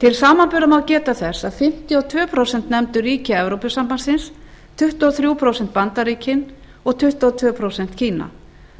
til samanburðar má geta þess að fimmtíu og tvö prósent nefndu ríki evrópusambandsins tuttugu og þrjú prósent bandaríkin og tuttugu og tvö prósent kína